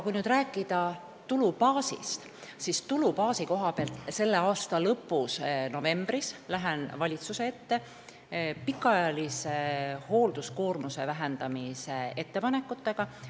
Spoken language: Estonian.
Kui nüüd tulubaasist rääkida, siis selle aasta lõpus, novembris, lähen valitsuse ette pikaajalise hoolduskoormuse vähendamise ettepanekutega.